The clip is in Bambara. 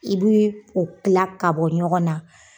I bui o tila k'a bɔ ɲɔgɔn na